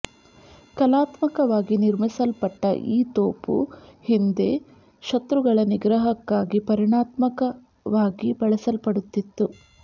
ಕಲಾತ್ಮಕವಾಗಿ ನಿರ್ಮಿಸಲ್ಪಟ್ಟ ಈ ತೋಪು ಹಿಂದೆ ಶತ್ರುಗಳ ನಿಗ್ರಹಕ್ಕಾಗಿ ಪರಿಣಾಮಾತ್ಮಕವಾಗಿ ಬಳಸಲ್ಪಡುತ್ತಿತ್ತು